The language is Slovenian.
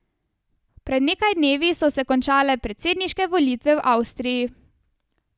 Pred nekaj dnevi so se končale predsedniške volitve v Avstriji.